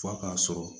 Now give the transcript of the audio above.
F'a k'a sɔrɔ